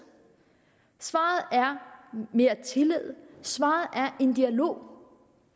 svaret er mere tillid svaret er en dialog